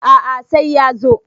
A`a sai ya zo